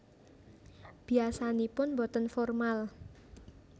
Biasanipun boten formal